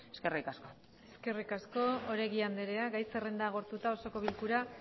eskerrik asko eskerrik asko oregi andrea gai zerrenda agortuta osoko bilkura